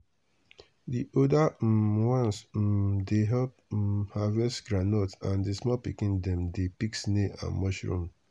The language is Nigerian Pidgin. the older um ones um dey help um harvest groundnut and the small pikin dem dey pick snail and mushroom.